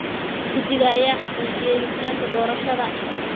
Guddiga ayaa xaqiijiyay hufnaanta doorashada.